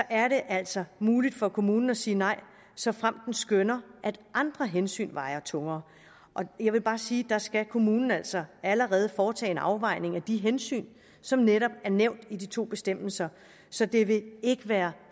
er det altså muligt for kommunen at sige nej såfremt den skønner at andre hensyn vejer tungere jeg vil bare sige at der skal kommunen altså allerede foretage en afvejning af de hensyn som netop er nævnt i de to bestemmelser så det vil ikke være